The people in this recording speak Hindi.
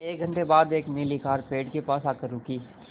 एक घण्टे बाद एक नीली कार पेड़ के पास आकर रुकी